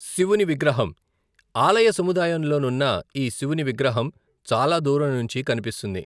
శివుని విగ్రహం ఆలయ సముదాయం లో నున్న ఈ శివుని విగ్రహం చాలా దూరం నుంచి కనిపిస్తుంది.